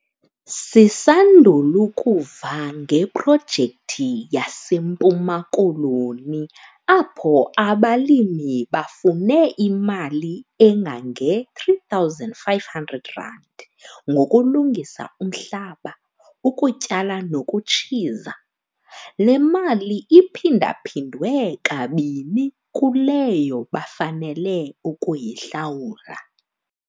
Sisandul' ukuva ngeprojekthi yaseMpuma Koloni apho abalimi bafune imali engange-R3 500 ngokulungisa umhlaba, ukutyala nokutshiza. Le mali iphinda-phindwe kabini kuleyo bafanele ukuyihlawula.